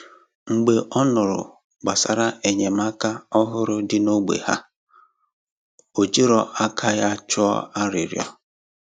Mgbe ọ nụrụ gbasàrà enyémàkà òhùrù dị n’ógbè ha, ó jìrò aka ya tụọ arịrịọ.